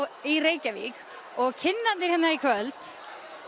í Reykjavík og kynnarnir hér í kvöld